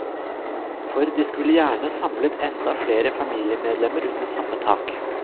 For de skulle gjerne samlet enda flere familiemedlemmer under samme tak.